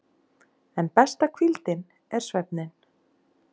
En besta hvíldin er svefninn.